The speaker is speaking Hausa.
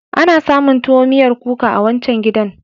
Ana samun tuwo miyar kuka a wancan gidan.